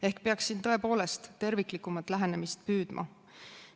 Ehk peaks siin tõepoolest püüdma terviklikumalt läheneda.